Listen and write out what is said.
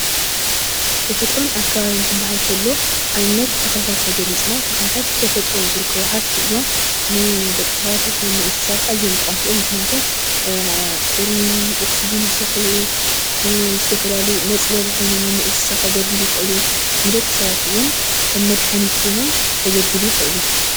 ተፈጥሮን ኣካባቢን ክብሃል እንተሎ ኣብነት ተክልታት ተገሊፅና ተክልታት ብተፈጥሮ ዝርከቡ ሃፍቲ እዮም። ንደቂ ሰባት ይኩን ንእንስሳታት ኣዝዮም ጠቀምቲ እዮም። ምክንያቱ ፁሩይ ኦክስጂን ይስሕቡ ዝተፈላለዩ መፅለሊ ኮይኖም ንእንስሳ ከገልግሉ ይክእሉ፤ ንደቂ ሰባት'ውን ከም መድሃኒት ኮይኖም ከገልግሉ ይክእሉ።